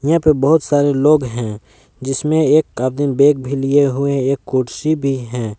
यहां पे बहुत सारे लोग हैं जिसमें एक आदमी बैग भी लिए हुए एक कुर्सी भी हैं।